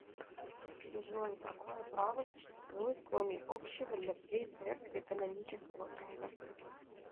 джой какое право существует кроме общего для всей церкви канонического права